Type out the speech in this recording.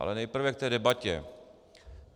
Ale nejprve k té debatě.